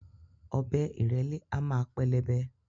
Ọ̀bẹ ìrẹ̀lẹ́ a máa pẹlẹbẹ